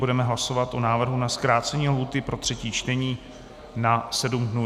Budeme hlasovat o návrhu na zkrácení lhůty pro třetí čtení na sedm dnů.